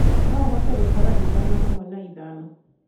no ũhote gũtare ĩthano hamwe na ĩthano